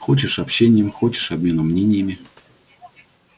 хочешь общением хочешь обменом мнениями